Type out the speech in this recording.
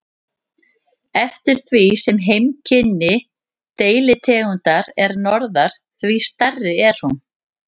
Eftir því sem heimkynni deilitegundar er norðar, því stærri er hún.